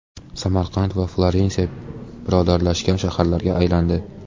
Samarqand va Florensiya birodarlashgan shaharlarga aylandi.